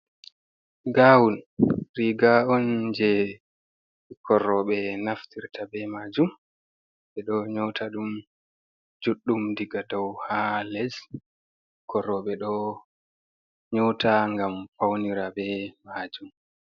Gawun riga on je bikkon robe naftirta be majum. Be ɗo nyauta ɗum juɗɗum diga dow ha les. Bikkii robe ɗo nyauta ngam paunira be majum.